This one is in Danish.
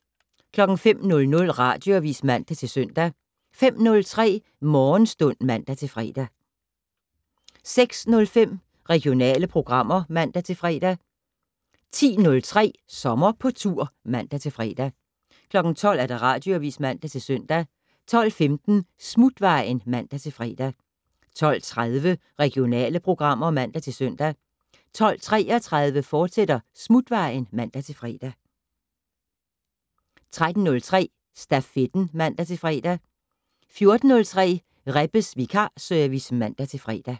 05:00: Radioavis (man-søn) 05:03: Morgenstund (man-fre) 06:05: Regionale programmer (man-fre) 10:03: Sommer på tur (man-fre) 12:00: Radioavis (man-søn) 12:15: Smutvejen (man-fre) 12:30: Regionale programmer (man-søn) 12:33: Smutvejen, fortsat (man-fre) 13:03: Stafetten (man-fre) 14:03: Rebbes vikarservice (man-fre)